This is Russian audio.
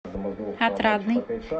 отрадный